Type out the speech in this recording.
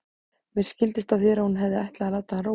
Mér skildist á þér að hún hefði ætlað að láta hann róa.